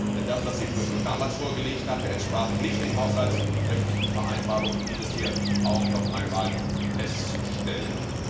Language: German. Denn das, was die Kommission damals vorgelegt hatte, entsprach nicht den haushaltsrechtlichen Vereinbarungen. Dies ist hier noch einmal festzustellen.